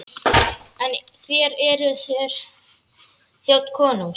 En þér, eruð þér þjónn konungs?